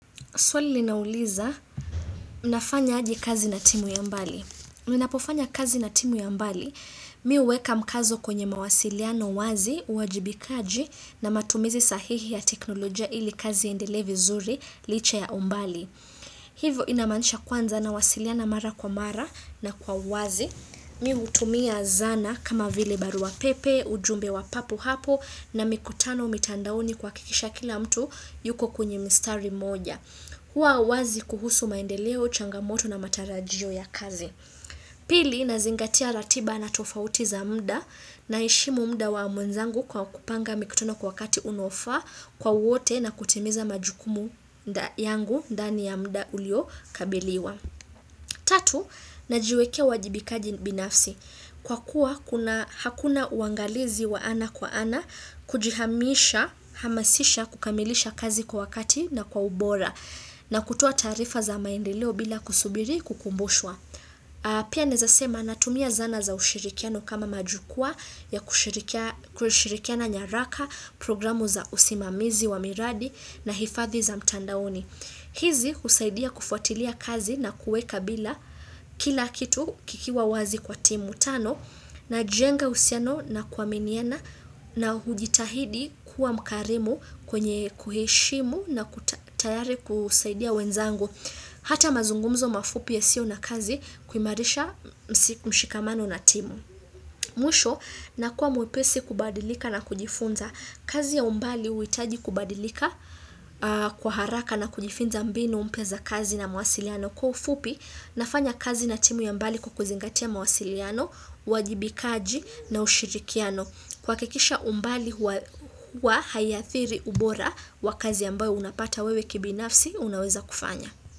Swali linauliza, mnafanya aje kazi na timu ya mbali. Mnapofanya kazi na timu ya mbali, mimi uweka mkazo kwenye mawasiliano wazi, uajibikaji na matumizi sahihi ya teknolojia ili kazi endelevi vizuri, licha ya umbali. Hivo inamanisha kwanza na wasiliano mara kwa mara na kwa wazi. Mimi utumia zana kama vile baru pepe, ujumbe wa papu hapu na mikutano umitandauni kuhakikisha kila mtu yuko kunye mistari moja. Huwa wazi kuhusu maendeleo, changamoto na matarajio ya kazi. Pili, nazingatia ratiba na tofauti za muda naheshimu muda wa mwenzangu kwa kupanga mikutono kwa wakati unofaa kwa wote na kutimiza majukumu yangu dani ya muda uliokabiliwa. Tatu, na jiwekea wajibikaji binafsi. Kwa kuwa hakuna uangalizi wa ana kwa ana, kujihamisha, hamasisha kukamilisha kazi kwa wakati na kwa ubora na kutua taarifa za maendileo bila kusubiri kukumbushwa. Pia nezasema natumia zana za ushirikiano kama majukua ya kushirikiana nyaraka, programu za usimamizi wa miradi na hifathi za mtandaoni. Hizi usaidia kufuatilia kazi na kueka bila kila kitu kikiwa wazi kwa timu tano na jenga usiano na kuaminiena na hujitahidi kuwa mkarimu kwenye kuheshimu na kutayari kusaidia wenzangu. Hata mazungumzo mafupi ya siyo na kazi kuimarisha mshikamano na timu. Mwisho, nakua mwepesi kubadilika na kujifunza. Kazi ya umbali uitaji kubadilika kwa haraka na kujifunza mbinu mpya kazi na mawasiliano. Kwa ufupi, nafanya kazi na timu ya mbali kukuzingatia mawasiliano, wajibikaji na ushirikiano. Kuhakikisha umbali wa hayathiri ubora wa kazi yambayo unapata wewe kibinafsi, unaweza kufanya.